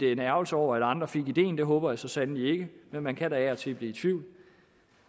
er en ærgelse over at andre fik ideen det håber jeg så sandelig ikke men man kan da af og til blive i tvivl